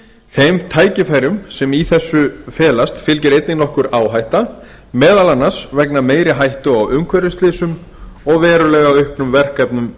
þeim tækifærum sem í þessum felast fylgir einnig nokkur áhætta meðal annars vegna meiri hættu á umhverfisslysum og verulega auknum verkefnum